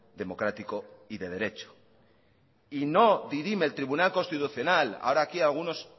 democrático y de derecho y no dirime el tribunal constitucional ahora que algunos